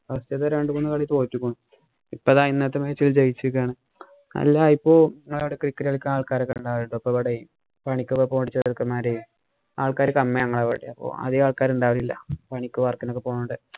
മറ്റേതു രണ്ടുമൂന്നു കളി തോറ്റിരിക്കണു. ഇപ്പം ദാ ഇന്നത്തെ match ജയിച്ചിരിക്കയാണ്. അല്ല ഇപ്പൊ cricket കളിക്കാന്‍ ആള്‍ക്കാര് ഒണ്ടായേക്കൊണ്ട് ഇവിടേ പണിക്കൊക്കെ പോണ ചെറുക്കന്മാര് ആള്‍ക്കാര് കമ്മിയാ ഞങ്ങള്‍ടെ അവിടെ അധികം ആള്‍ക്കാര് ഉണ്ടാവില്ല. പണിക്കും, work ഇനും ഒക്കെ പോണോണ്ട്.